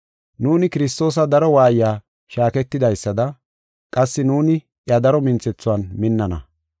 Nuuni Kiristoosa daro waayiya shaaketidaysada qassi nuuni iya daro minthethuwan minnana.